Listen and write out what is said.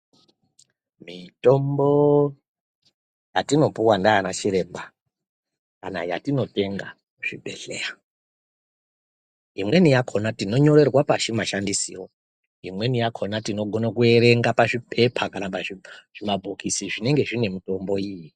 Mitombo yatinopiwa nanachiremba kana yatinotenga kuzvibhedhlera imweni yakona tinonyorerwa pashi mashandisiro, imweni yakona tinogona kuerenga pazvipepa kana pazvimabhokisi zvinenge zviine mitombo iyi.